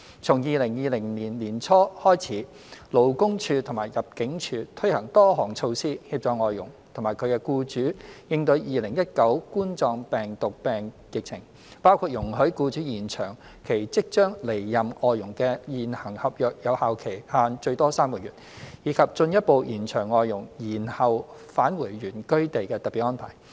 從2020年年初開始，勞工處及入境處推行多項措施，協助外傭及其僱主應對2019冠狀病毒病疫情，包括容許僱主延長其即將離任外傭的現行合約有效期限最多3個月，以及進一步延長外傭延後返回原居地的特別安排。